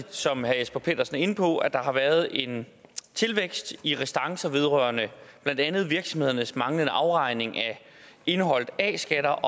som herre jesper petersen var inde på at der har været en tilvækst i restancer vedrørende blandt andet virksomhedernes manglende afregning af indeholdt a skat og